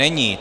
Není.